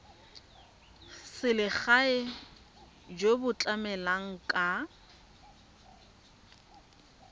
selegae jo bo tlamelang ka